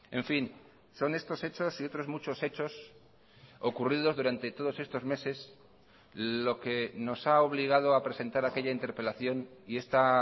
en fin son estos hechos y otros muchos hechos ocurridos durante todos estos meses lo que nos ha obligado a presentar aquella interpelación y esta